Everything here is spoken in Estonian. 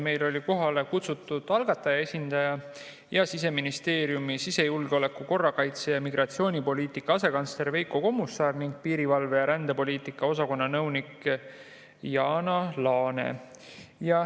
Meil olid kohale kutsutud algataja esindaja ja Siseministeeriumi sisejulgeoleku‑, korrakaitse‑ ja migratsioonipoliitika asekantsler Veiko Kommusaar ning piirivalve‑ ja rändepoliitika osakonna nõunik Jana Laane.